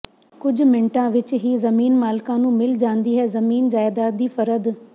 ਕੁਝ ਮਿੰਟਾਂ ਵਿੱਚ ਹੀ ਜ਼ਮੀਨ ਮਾਲਕਾਂ ਨੂੰ ਮਿਲ ਜਾਂਦੀ ਹੈ ਜ਼ਮੀਨ ਜਾਇਦਾਦ ਦੀ ਫਰਦ